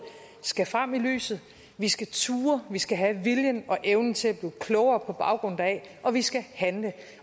skal frem i lyset vi skal turde vi skal have viljen og evnen til at blive klogere på baggrund deraf og vi skal handle